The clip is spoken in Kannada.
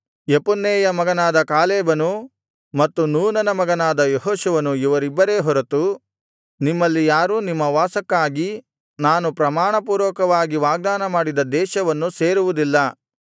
ಯೆಫುನ್ನೆಯ ಮಗನಾದ ಕಾಲೇಬನು ಮತ್ತು ನೂನನ ಮಗನಾದ ಯೆಹೋಶುವನು ಇವರಿಬ್ಬರೇ ಹೊರತು ನಿಮ್ಮಲ್ಲಿ ಯಾರೂ ನಿಮ್ಮ ವಾಸಕ್ಕಾಗಿ ನಾನು ಪ್ರಮಾಣಪೂರ್ವಕವಾಗಿ ವಾಗ್ದಾನಮಾಡಿದ ದೇಶವನ್ನು ಸೇರುವುದಿಲ್ಲ